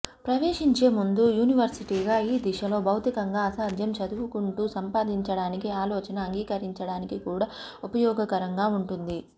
ప్రవేశించే ముందు యూనివర్సిటీగా ఈ దిశలో భౌతికంగా అసాధ్యం చదువుకుంటూ సంపాదించడానికి ఆలోచన అంగీకరించడానికి కూడా ఉపయోగకరంగా ఉంటుంది